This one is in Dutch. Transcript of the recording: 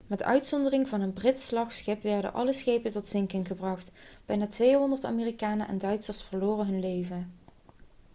met uitzondering van een brits slagschip werden alle schepen tot zinken gebracht bijna 200 amerikanen en duitsers verloren hun leven